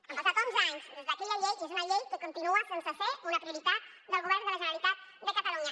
han passat onze anys des d’aquella llei i és una llei que continua sense ser una prioritat del govern de la generalitat de catalunya